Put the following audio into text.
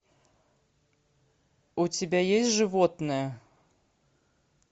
у тебя есть животное